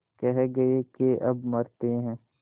कह गये के अब मरते हैं